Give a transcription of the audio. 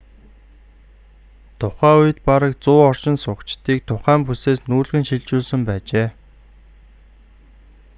тухай үед бараг 100 оршин суугчдыг тухай бүсээс нүүлгэн шилжүүлсэн байжээ